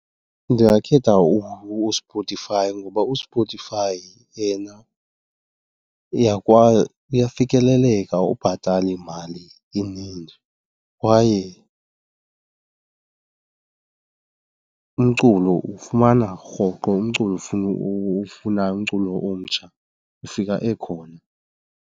Ndingakhetha uSpotify ngoba uSpotify yena uyafikeleleka, awubhatali mali ininzi kwaye umculo uwufumana rhoqo, umculo owufunayo, umculo omtsha ufika ekhona.